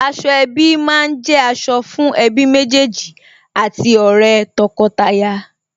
Aṣọ ẹbí má ń jẹ́ aṣọ fún ẹbí méjèèjì àti ọ̀rẹ́ tọkọtaya